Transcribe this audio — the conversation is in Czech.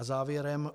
A závěrem.